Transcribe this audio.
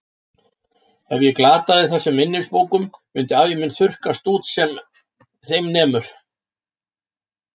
Ef ég glataði þessum minnisbókum myndi ævi mín þurrkast út sem þeim nemur.